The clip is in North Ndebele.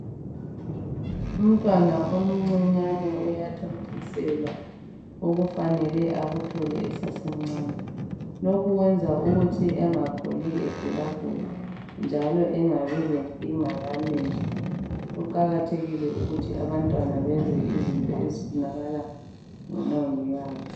Umntwana omncinyane uyathontiselwa okufanele akuthole esasemncane. Lokhu kwenza ukuthi engakhuli egulagula njalo engabi lenkinga yamehlo kuqakathekile ukuthi abantwana benze izinto ezifunakala ngomongikazi.